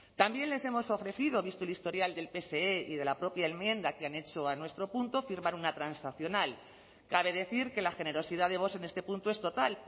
también les hemos ofrecido visto el historial del pse y de la propia enmienda que han hecho a nuestro punto firmar una transaccional cabe decir que la generosidad de vox en este punto es total